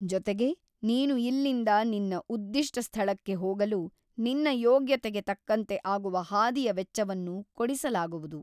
ಜೊತೆಗೆ ನೀನು ಇಲ್ಲಿಂದ ನಿನ್ನ ಉದ್ದಿಷ್ಟ ಸ್ಥಳಕ್ಕೆ ಹೋಗಲು ನಿನ್ನ ಯೋಗ್ಯತೆಗೆ ತಕ್ಕಂತೆ ಆಗುವ ಹಾದಿಯ ವೆಚ್ಚವನ್ನು ಕೊಡಿಸಲಾಗುವುದು.